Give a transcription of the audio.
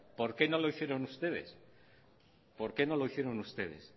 por qué no lo hicieron ustedes por qué no lo hicieron ustedes